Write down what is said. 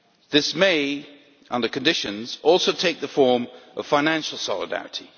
This may, under conditions, also take the form of financial solidarity.